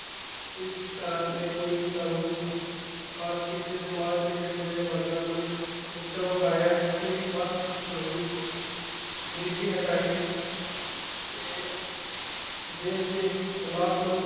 ਇਸ ਤਰ੍ਹਾਂ ਤੇ ਕੋਈ ਕਾਨੂੰਨ ਪਾਕ ਕੀਤੇ ਸਮਾਜ ਦੇ ਹੇਠਲੇ ਵਰਗਾ ਨੂੰ ਉੱਚਾ ਉਠਾਇਆ ਇੱਥੇ ਹੀ ਬਸ ਨਹੀਂ ਗ਼ਰੀਬੀ ਹਟਾਈ ਤੇ ਦੇਸ਼ ਦੇ ਹਲਾਤ ਨੂੰ।